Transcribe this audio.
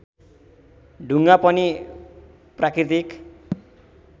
ढुङ्गा पनि प्राकृतिक